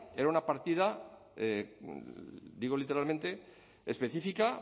era una partida digo literalmente específica